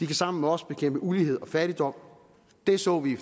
kan sammen med os bekæmpe ulighed og fattigdom det så vi